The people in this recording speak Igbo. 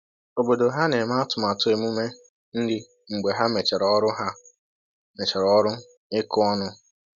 Obodo ha na-eme atụmatụ emume nri mgbe ha mechara ọrụ ha mechara ọrụ ịkụ ọnụ